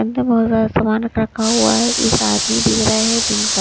अंदर बहुत सारा सामान रख रखा हुआ है एक आदमी दिख रहा है दिन का--